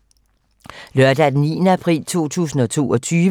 Lørdag d. 9. april 2022